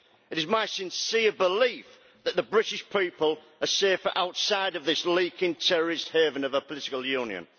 It is my sincere belief that the British people are safer outside of this leaking terrorist haven of a political union.